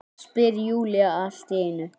spyr Júlía allt í einu.